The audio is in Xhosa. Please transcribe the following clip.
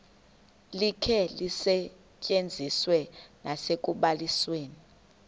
likhe lisetyenziswe nasekubalisweni